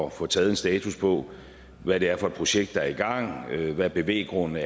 at få taget en status på hvad det er for et projekt der er i gang hvilke bevæggrunde